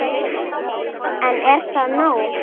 En er það nóg?